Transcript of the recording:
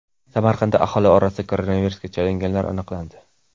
Samarqandda aholi orasida koronavirusga chalinganlar aniqlandi.